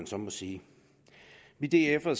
så må sige vi df’ere